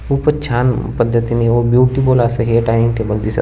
खूपच छान पद्धतीने व ब्यूटीफूल असे है डायनिंग टेबल दिसत --